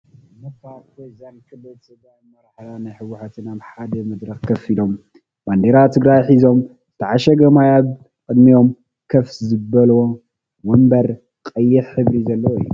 ነባር ፕሬዚዳት ክልል ትግራይ ኣመራርሓ ናይ ሕወሓትን ኣብ ሓደ መድረክ ኮፍ ኢሎም ባንዴራ ትግራይ ሒዞም ዝተዓሸገ ማይ ኣብ ቅድሚኦም ኮፍ ዝበልዎ ዎንበር ቀይሕ ሕብሪ ዘለዎን እዩ።